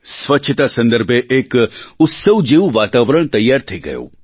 સ્વચ્છતા સંદર્ભે એક ઉત્સવ જેવું વાતાવરણ તૈયાર થઈ ગયું